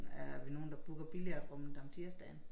Er vi nogen der booker billiardrummet om tirsdagen